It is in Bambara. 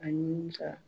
Ani ka